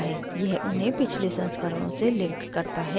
यह उन्हें पिछले संस्करणों से links करता है